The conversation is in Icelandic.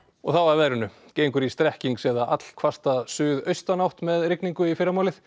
og þá að veðri gengur í strekkings eða suðaustanátt með rigningu í fyrramálið